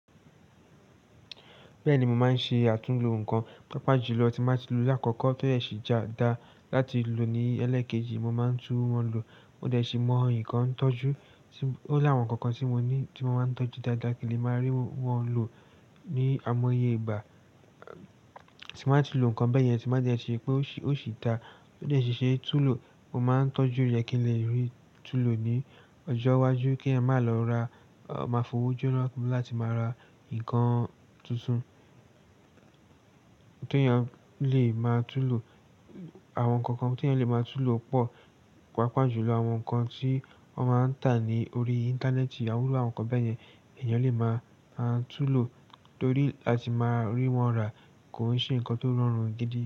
Bẹ́ẹ̀ ni, mo máa ń ṣe àtúnlo nǹkan, pàápàá jùlọ tí máa ń ti lo láàkọ́kọ́ tó yẹ sì já dá láti lò ní ẹlẹ́ẹ̀kejì, mo máa ń tún wọn lo. Mo dẹ̀ ṣì mọ ǹkan tọ́jú, ó láwọn nǹkan kan tí mo ní tí mo máa ń tọ́jú dáadáa kí lè máa rí wọn lò ní àìmọye ìgbà tí bàá ti lo nǹkan bẹ́ẹ̀ yẹn, tí màá dẹ̀ ṣi ri pé ó sì dá. Tó dẹ̀ ṣe túùlò, mo máa ń tọ́jú rẹ̀ kí n lè rí túùlò ní ọjọ́ iwájú kí a máa lọ ra, máa fowójú lọ́wọ́ láti máa ra nǹkan tuntun tí èèyàn lè máa túùlò. Àwọn nǹkan kan tí èèyàn lè máa túùlò pọ̀, pàápàá jùlọ àwọn nǹkan tí wọ́n máa ń tà ní orí Íńtánẹ́ẹ̀tì, àwúrọ̀ àwọn nǹkan bẹ́ẹ̀ yẹn èèyàn lè máa túùlò torí láti máa rí wọn rà kò ṣe nǹkan tó rọrùn gidi.